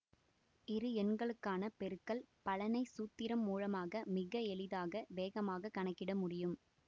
இரு எண்களுக்கான பெருக்கல் பலனை சூத்திரம் மூலமாக மிக எளிதாக வேகமாக கணக்கிட முடியும்